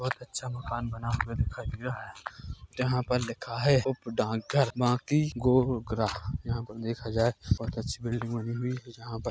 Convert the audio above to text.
बहुत अच्छा मकान बना हुआ दिखाई दे रहा है जहाँ पर लिखा है उप डाकघर बाकी गोंगरा। यहाँ पर देखा जाए बहुत अच्छी बिल्डिंग बनी है जहाँ पर--